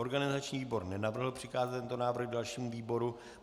Organizační výbor nenavrhl přikázat tento návrh dalšímu výboru.